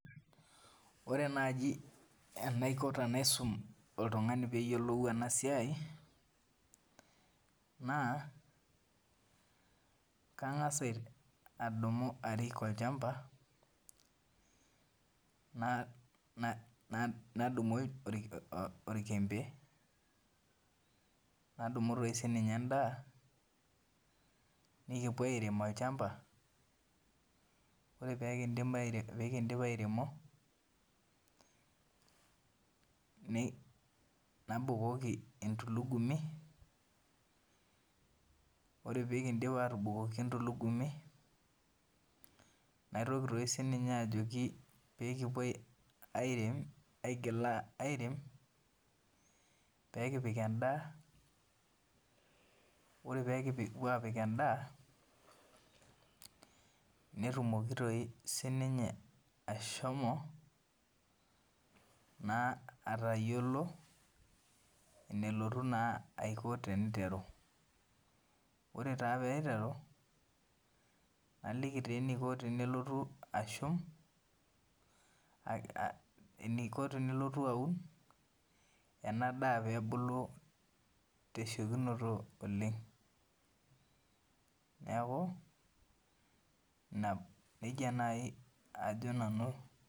Ore naaji enaiko tenaisum oltung'ani peeyiolou ena siai naa kang'as adumu arik olchamba nadumu orkembe nadumu siininye endaa. Nikiren olchamba ore pee kindim airemo nabukoki entulugumi ore pee abukoki najoki peekirem peekipik endaa netumoki doi sii ninye ashomo aatayiolo eneiko teneitteru ore pee eiteru naliki enaiko peelotu aun ena daa peebulu tesiokinoto oleng neeku nejia naaji ajo nanu